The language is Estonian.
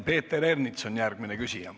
Peeter Ernits on järgmine küsija.